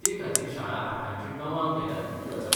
ते खातीर शाळा आठांची णवांक केल्यार कितें जाता?